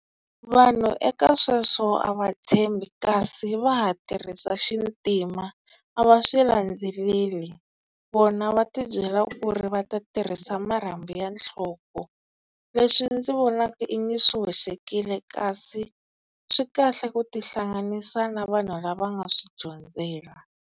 Vanhu eka sweswo a va tshembi kasi va ha tirhisa xintima a va swi landzeleli. Vona va ti byela ku ri va ta tirhisa marhambu ya nhloko, leswi ndzi vonaka i nga swi hoxekile kasi swi kahle ku tihlanganisa na vanhu lava nga swi dyondzela.